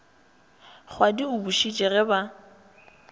kgwadi o bušitše ge ba